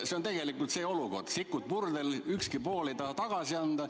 See on tegelikult see olukord, et sikud on purdel ja kumbki pool ei taha järele anda.